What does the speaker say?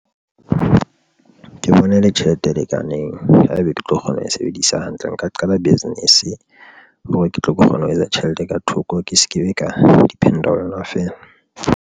Ke bona e le tjhelete e lekaneng. Haebe ke tlo kgona ho e sebedisa hantle, nka qala business hore ke tlo kgona ho etsa tjhelete ka thoko. Ke se ke be ka depend-a ho yona feela.